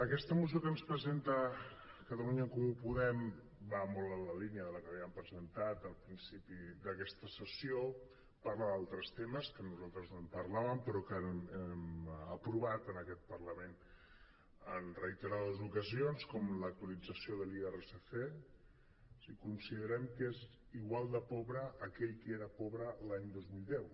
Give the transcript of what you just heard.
aquesta moció que ens presenta catalunya en comú podem va molt en la línia de la que havíem presentat al principi d’aquesta sessió parla d’altres temes que nosaltres no en parlàvem però que hem aprovat en aquest parlament en reiterades ocasions com l’actualització de l’irsc si considerem que és igual de pobre aquell que era pobre l’any dos mil deu